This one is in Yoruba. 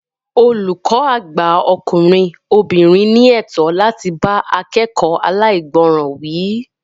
Olùkọ́ àgbà ọkùnrin/obìnrin ní ẹ̀tọ́ láti bá akekoo alaigboran wí